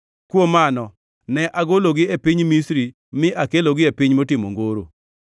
Kuom mano ne agologi e piny Misri mi akelogi e piny motimo ongoro.